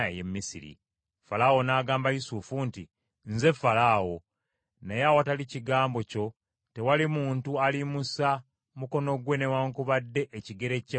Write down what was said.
Falaawo n’agamba Yusufu nti, “Nze Falaawo, naye awatali kigambo kyo tewali muntu aliyimusa mukono gwe newaakubadde ekigere kye mu Misiri.”